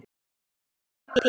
Ég gapi.